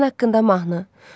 Vətən haqqında mahnı.